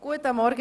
Guten Morgen!